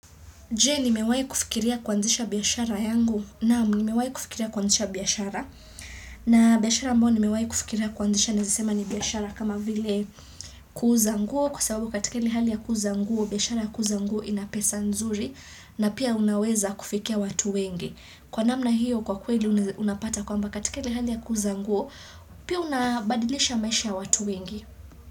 Je, nimewahi kufikiria kuanzisha biashara yangu. Naam, nimewahi kufikiria kuanzisha biashara. Na biashara ambao nimewahi kufikiria kuanzisha naaza sema ni biashara kama vile kuuza nguo. Kwa sababu katika ile ya hali ya kuuza nguo, biashara ya kuuza nguo ina pesa nzuri na pia unaweza kufikia watu wengi. Kwa namna hiyo kwa kweli unapata kwamba katika ile hali ya kuuza nguo, pia unabadilisha maisha ya watu wengi.